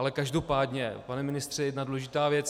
Ale každopádně, pane ministře, jedna důležitá věc.